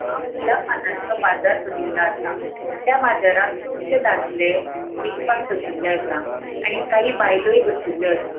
हांगा फुला पानांचो बाजार भरिल्लो असा. त्या बाजराक कुबशे दाद्ले विकपाक बशिल्ले आसा आणि काहि बायलोय बशिल्लो आसा.